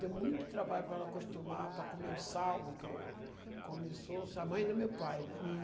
Deu muito trabalho para ela acostumar, para comer o sal, porque começou A mãe do meu pai, né? Hm